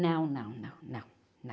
Não, não, não, não, não.